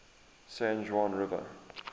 san juan river